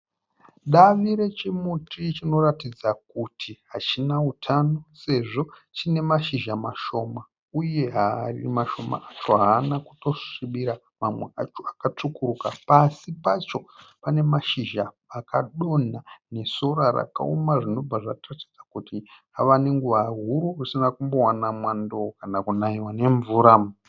Davi rechimuti chinoratidza kuti hachina utano sezvo chiine mazhiza mashoma uye mashoma acho haana kutosvibira mamwe acho akatsvukuruka. Pasi pacho panemashizha akadonha nesora rakooma zvinobva zvatiratidza kuti ava nenguva huru asina kumbowana mwando kana kunaiwa nemvura.